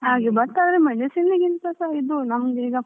ಹ್ಮ್ ಹಾಗೆ but ಆದ್ರೆ medicine ಗಿಂತಸಾ ಇದು ನಮ್ದು ಈಗ.